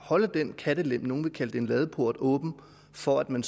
holde en kattelem nogle vil kalde det en ladeport åben for at man